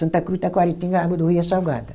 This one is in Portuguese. Santa Cruz, Taquaritinga, a água do rio é salgada.